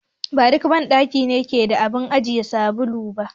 Ba duk banɗaki ne yake da abun ajiye sabulu ba.